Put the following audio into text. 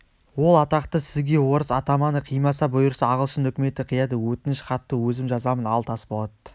ол атақты сізге орыс атаманы қимаса бұйырса ағылшын үкіметі қияды өтініш хатты өзім жазамын ал тасболат